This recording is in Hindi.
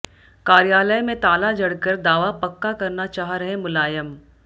कार्यालय में ताला जड़कर दावा पक्का करना चाह रहे मुलायम